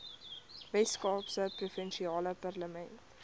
weskaapse provinsiale parlement